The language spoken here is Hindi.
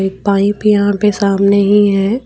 पाइप यहां पे सामने ही है।